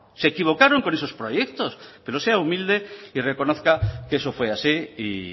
se equivocaron con esos proyectos pero sea humilde y reconozca que eso fue así y